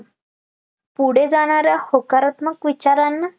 पुढे जाणाऱ्या होकारात्मक विचारांना